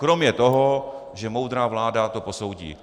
Kromě toho, že moudrá vláda to posoudí.